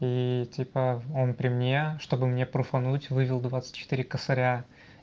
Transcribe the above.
типа он при мне чтобы мне пруфануть вывел двадцать четыре косаря